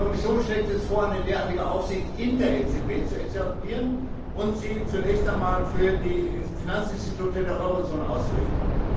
Die Kommission schlägt jetzt vor, eine derartige Aufsicht in der EZB zu etablieren und sie zunächst einmal für die Finanzinstitute der Eurozone auszurichten.